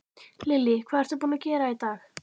Lillý: Hvað ertu búinn að gera í dag?